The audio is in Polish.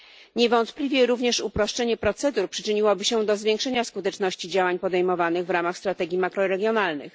Niewątpliwie również uproszczenie procedur przyczyniłoby się do zwiększenia skuteczności działań podejmowanych w ramach strategii makroregionalnych.